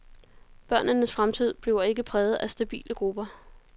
Børnenes fremtid bliver ikke præget af stabile grupper.